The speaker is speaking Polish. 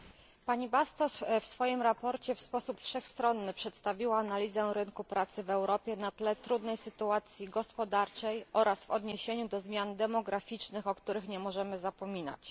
Posłanka Bastos w swoim raporcie w sposób wszechstronny przedstawiła analizę rynku pracy w Europie na tle trudnej sytuacji gospodarczej oraz w odniesieniu do zmian demograficznych, o których nie możemy zapominać.